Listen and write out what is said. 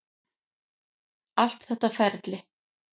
Allt þetta ferli.